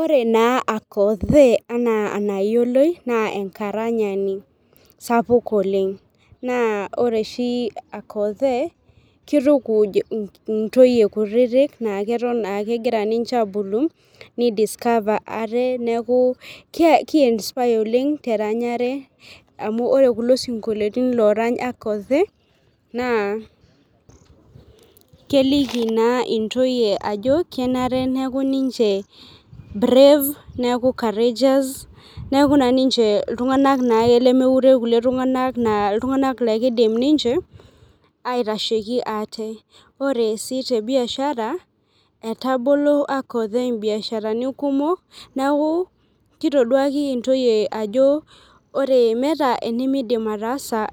Ore na akothe ana enayioloi na enkaranyani sapuk oleng, na ore oshi akothe kitukuj ntoyie kutitik nakegira ninche abulu ni discover ate neaku ki inspire teranyare amu ore kulo sinkolioni orany akothe na keliki na intoyie ajo kenare neaku ninche brave neaku courageous neaku na ninche ltunganak lemeure kulikae tunganak na ltunganak lakidim ninche aitashieki ate, ore si tebiashara etabalo akothe biasharani kumok neaku kitoduaki ntoyie ajo meeta enimidim ataasa